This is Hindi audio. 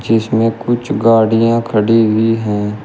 इसमें कुछ गाड़ियां खड़ी हुई हैं।